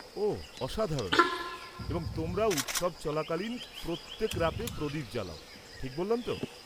ওহ, অসাধারণ। এবং তোমরা উৎসব চলাকালীন প্রত্যেক রাতে প্রদীপ জ্বালাও, ঠিক বললাম তো?